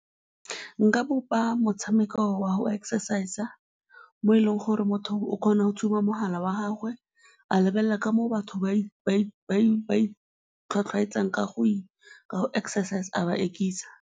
Nka bopa motshameko wa go exercise-a mo e leng gore motho o kgona go tshuba mogala wa gagwe, a lebelela ka moo batho ba itlhwatlhwaetsang ka go exercise-a, a ba ekisa.